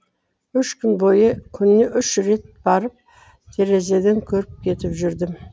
үш күн бойы күніне үш рет барып терезеден көріп кетіп жүрдім